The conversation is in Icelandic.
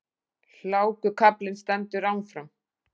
Hlákukaflinn stendur áfram